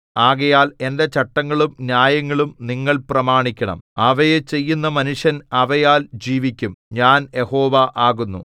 ആകയാൽ എന്റെ ചട്ടങ്ങളും ന്യായങ്ങളും നിങ്ങൾ പ്രമാണിക്കണം അവയെ ചെയ്യുന്ന മനുഷ്യൻ അവയാൽ ജീവിക്കും ഞാൻ യഹോവ ആകുന്നു